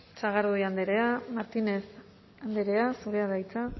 sagardui andrea martínez andrea zurea da hitza